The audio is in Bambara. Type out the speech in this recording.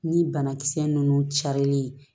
Ni banakisɛ ninnu carilen